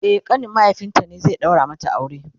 e ƙanin mahaifinta ne zai daura mata aure